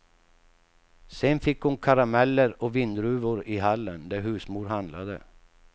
Sen fick hon karameller och vindruvor i hallen, där husmor handlade.